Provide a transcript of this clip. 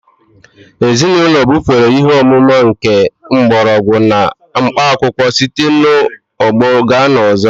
Ezinaụlọ bufere ihe ọmụma nke mgbọrọgwụ na mkpaakwụkwọ site n'otu ọgbọ gaa n'ọzọ